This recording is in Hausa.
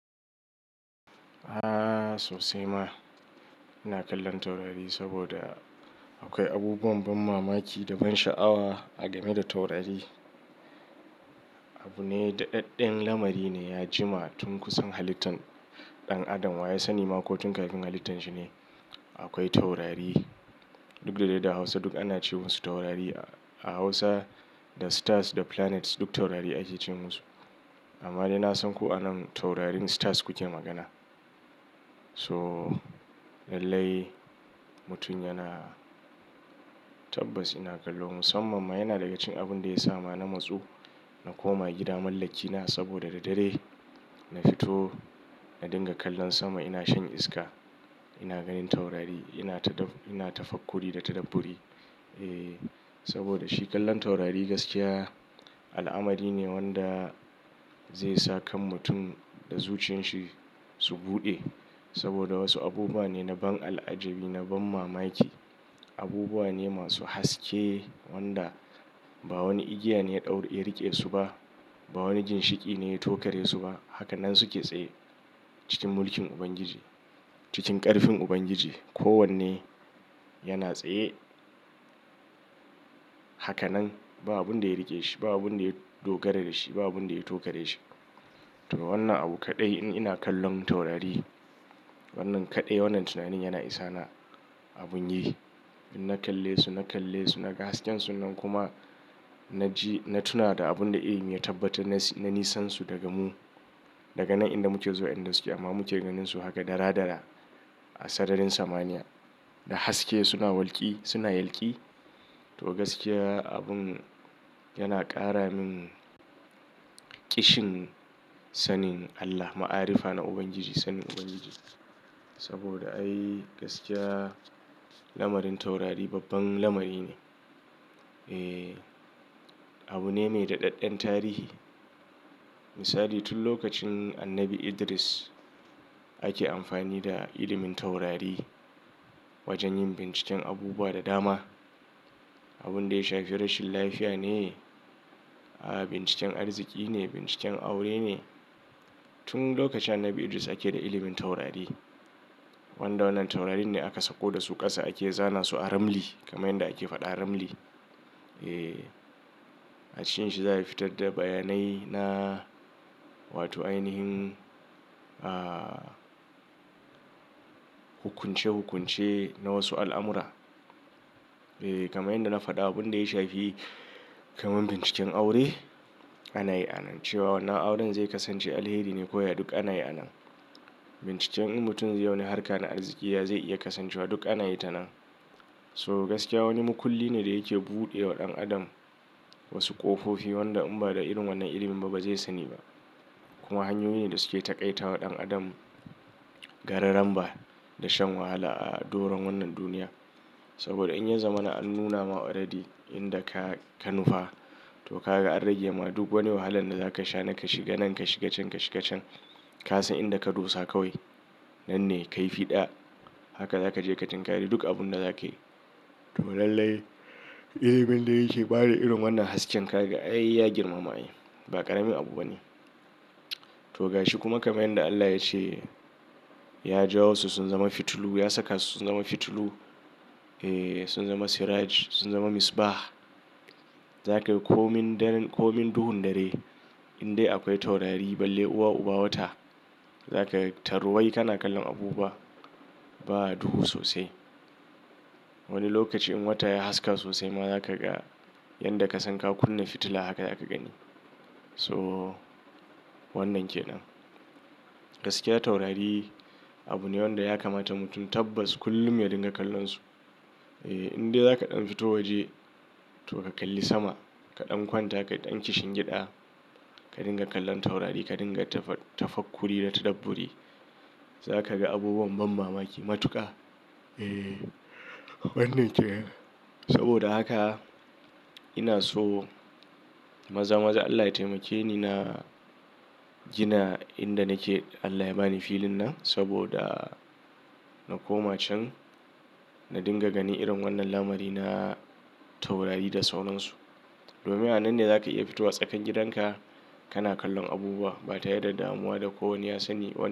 A'a sosai ma. Ina kallon taurari saboda akwai abubuwan ban mamaki da ban sha'awa a game da taurari. Abu ne daɗaɗɗen lamari ne ya jima tun kusan halittan ɗan adam wa ya sani makokin kafin halittan shi ne? Akwai taurari duk da dai da Hausa duk ana ce musu taurari. A Hausa the stars the planets duk taurari ake ce musu. Amma dai na san ko anan taurarin stars ku ke magana. So lallai mutum yana tabbas ina kallo musamman ma yana daga cikin abun da ya sa ma na matsu na koma gida mallakina saboda da dare na fito na dinga kallon sama ina shan iska ina ganin taurari ina tafakkuri da tadabburi. E saboda shi kallon taurari gaskiya al'amari ne wanda zai sa kan mutum da zuciyan shi su buɗe. Saboda wasu abubuwa ne na ban al'ajabi, na ban mamaki, abubuwa ne masu haske wanda ba wani igiya ne ya ɗauraye rike su ba, ba wani ginshiƙi ne ya tokare su ba. Hakanan su ke tsaye cikin mulkin Ubangiji, cikin ƙarfin Ubangiji. Ko wanne yana tsaye haka nan ba abun da ya rike shi, ba abun da ya dogara da shi, ba abun da ya tokare shi. To wannan abu kaɗai in ina kallon taurari wannan kaɗai wannan tunanin yana isa na abun yi. In na kalle su, na kalle su, na ga hasken su nan kuma na ji na tuna da abun da iyi mai tabbata na nisansu daga mu daga nan inda muke zuwa inda suke amma muke ganin su haka dara-dara a sararin samaniya da haske suna walƙi suna yalƙi. To gaskiya abun yana ƙara min ƙishin sanin Allah, ma'arifa na Ubangiji, sanin Ubangiji. Saboda ai gaskiya lamarin taurari babban lamari ne. E abune mai daɗaɗɗen tarihi. Misali tun lokacin annabi Idris ake amfani da ilimin taurari wajen yin binciken abubuwa da dama. Abun da ya shafi rashin lafiya ne, a'a binciken arziki ne, binciken aure ne. Tun lokacin annabi Idris ake da ilimin taurari. Wanda wannan taurarin ne aka sako da su ƙasa ake zana su a ramli kamar yadda ake faɗa ramli. E a cikin shi za a fitar da bayanai na wato ainihin, a hukunce-hukunce na wasu al'amura. E kamar yadda na faɗa abun da ya shafi kamar binciken aure ana yi a nan. Cewa wannan auren zai kasance alheri ne ko ya duk ana yi a nan. Binciken in mutum zai yi wani harka na arziki ya zai iya kasancewa duk ana yi ta nan. So gaskiya wani makulli ne da yake buɗe wa ɗan adam wasu ƙofofi wanda in ba da irin wannan ilimin ba ba zai sani ba. Kuma hanyoyi ne da suke taƙaita wa ɗan adam gararan ba da shan wahala a doron wannan duniya. Saboda in ya zama an nuna oradi inda ka ka nufa to ka ga an rage ma duk wani wahalan da za ka sha nan ka shiga nan ka shiga can ka shiga can. Ka san inda ka dosa kawai. Nan ne kai fiɗa. Haka za ka je ka tinkari duk abun da za ka yi. To lallai, eh abin da yake ba da irin wannan hasken ka ga ay, ya girma ma ai. Ba ƙaramin abu ba ne. To ga shi kuma kamar yadda Allah ya ce "Ya jawo su sun zama fitilu, ya saka su sun zama fitilu, e sun zama siraj, sun zama misba'a." Za ka komin dan komin duhun dare in dai akwai taurari balle uba uba wata. Za ka taru wai kana kallon abubuwa ba duhu sosai. Wani lokaci in wata ya haska sosai ma za ka ga yadda ka san ka kunna fitila haka za ka gani. So wannan ke nan. Gaskiya taurari abu ne wanda ya kamata mutum tabbas kullum ya dinga kallon su. E in dai za ka ɗan fito waje to ka kalli sama ka ɗan kwanta ka ɗan kishi gyaɗa ka dinga kallon taurari ka dinga tafafakkuri da tadabburi za ka ga abubuwan ban mamaki matuƙa. E wannan ke nan. Saboda haka ina so maza-maza Allah ya taimake ni na gina inda nake Allah ya ba ni filin nan saboda na koma can na dinga gani irin wannan lamari na taurari da saunansu. Domin a nan ne za ka iya fito a tsakan gidan ka kana kallon abubuwa ba tare da damuwa da ko wane ya sani ba.